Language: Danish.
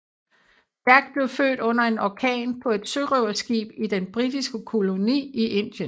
Jack blev født under en orkan på et sørøverskib i den britiske koloni i Indien